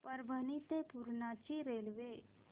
परभणी ते पूर्णा ची रेल्वे